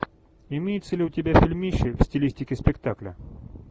имеется ли у тебя фильмище в стилистике спектакля